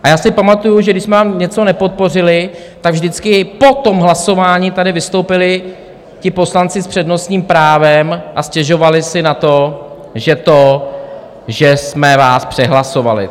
A já si pamatuju, že když jsme vám něco nepodpořili, tak vždycky po tom hlasování tady vystoupili ti poslanci s přednostním právem a stěžovali si na to, že to, že jsme vás přehlasovali.